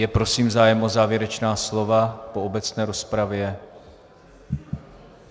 Je prosím zájem o závěrečná slova po obecné rozpravě?